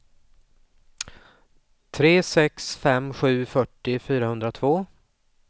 tre sex fem sju fyrtio fyrahundratvå